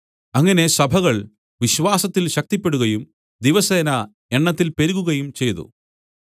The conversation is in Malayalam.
അങ്ങനെ സഭകൾ വിശ്വാസത്തിൽ ശക്തിപ്പെടുകയും ദിവസേന എണ്ണത്തിൽ പെരുകുകയും ചെയ്തു